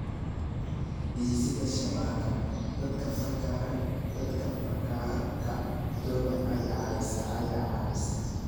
Dhisidda shabakad dadka fakarka togan ayaa caawisa.